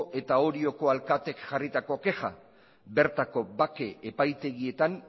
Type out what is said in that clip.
eta orioko alkateek jarritako kexa bertako bake epaitegietan